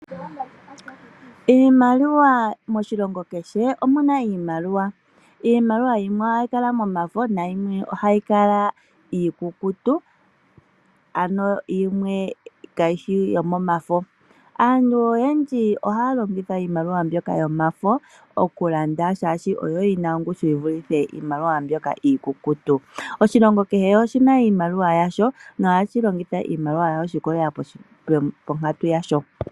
Iimaliwa, moshilongo kehe omuna iimaliwa. Iimaliwa yimwe ohayi kala momafo nayimwe ohayi kala iikukutu ano yimwe kayishi yefo. Aantu oyendji ohaya longitha iimaliwa mbyoka yomafo okulanda shaashi oyo yina ongushu yivulithe iimaliwa mbyoka iikukutu. Oshilongo kehe oshina iimaliwa yasho nohashi longitha iimaliwa yawo shi ikwatelela ponkatu yasho.